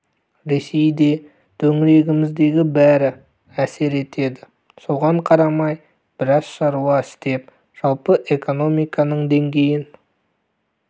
ресей де төңірегіміздегі бәрі әсер етеді соған қарамай біраз шаруа істеп жалпы экономиканың деңгейін